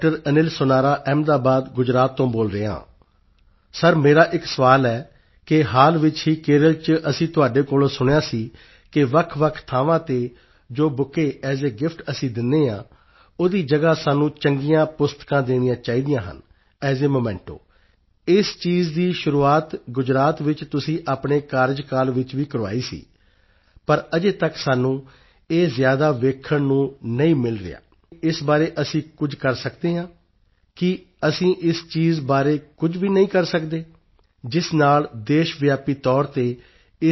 ਅਨਿਲ ਸੋਨਾਰਾ ਅਹਿਮਦਾਬਾਦ ਗੁਜਰਾਤ ਤੋਂ ਬੋਲ ਰਿਹਾ ਹਾਂ ਸਰ ਮੇਰਾ ਇੱਕ ਸਵਾਲ ਹੈ ਕਿ ਹਾਲ ਵਿੱਚ ਹੀ ਕੇਰਲ ਚ ਅਸੀਂ ਤੁਹਾਡੇ ਕੋਲੋਂ ਸੁਣਿਆ ਸੀ ਕਿ ਵੱਖਵੱਖ ਥਾਵਾਂ ਤੇ ਜੋ ਬੁਕੇਟ ਏਐੱਸ ਏ ਗਿਫਟ ਅਸੀਂ ਦਿੰਦੇ ਹਾਂ ਓਹਦੀ ਜਗਾ ਸਾਨੂੰ ਚੰਗੀਆਂ ਪੁਸਤਕਾਂ ਦੇਣੀਆਂ ਚਾਹੀਦੀਆਂ ਹਨ ਏਐੱਸ ਏ memento ਇਸ ਚੀਜ਼ ਦੀ ਸ਼ੁਰੂਆਤ ਗੁਜਰਾਤ ਵਿੱਚ ਤੁਸੀਂ ਆਪਣੇ ਕਾਰਜਕਾਲ ਵਿੱਚ ਵੀ ਕਰਵਾਈ ਸੀ ਪਰ ਅਜੇ ਤੱਕ ਆਈਐਨ ਰਿਸੈਂਟ ਡੇਜ਼ ਸਾਨੂੰ ਇਹ ਜ਼ਿਆਦਾ ਵੇਖਣ ਨੂੰ ਨਹੀਂ ਮਿਲ ਰਿਹਾ ਹੈ ਤਾਂ ਕਿ ਇਸ ਬਾਰੇ ਅਸੀਂ ਕੁਝ ਕਰ ਸਕਦੇ ਹਾਂ ਕੀ ਅਸੀਂ ਇਸ ਚੀਜ਼ ਬਾਰੇ ਕੁਝ ਕਰ ਨਹੀਂ ਸਕਦੇ ਜਿਸ ਨਾਲ ਦੇਸ਼ਵਿਆਪੀ ਤੌਰ ਤੇ ਇਸ ਚੀਜ਼ ਨੂੰ ਲਾਗੂ ਕੀਤਾ ਜਾ ਸਕੇ